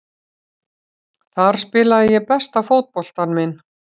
Þar spilaði ég besta fótboltann minn.